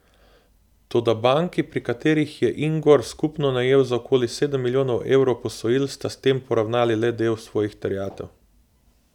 Toda banki, pri katerih je Ingor skupno najel za okoli sedem milijonov evrov posojil, sta s tem poravnali le del svojih terjatev.